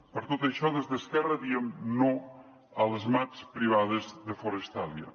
per tot això des d’esquerra diem no a les mats privades de forestalia